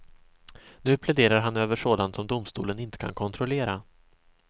Nu pläderar han över sådant som domstolen inte kan kontrollera.